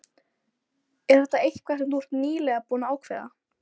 Er þetta eitthvað sem þú ert nýlega búinn að ákveða.